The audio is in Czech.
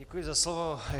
Děkuji za slovo.